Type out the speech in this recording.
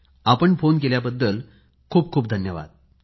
आपण फोन केल्याबद्दल खूप खूप धन्यवाद